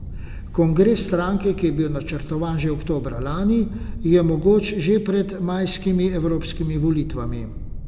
Kongres stranke, ki je bil načrtovan že za oktobra lani, je mogoč že pred majskimi evropskimi volitvami.